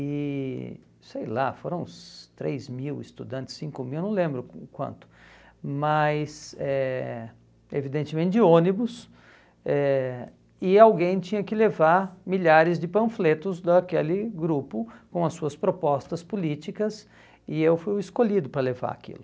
E, sei lá, foram uns três mil estudantes, cinco mil, não lembro o quanto, mas eh evidentemente de ônibus, eh e alguém tinha que levar milhares de panfletos daquele grupo com as suas propostas políticas, e eu fui o escolhido para levar aquilo.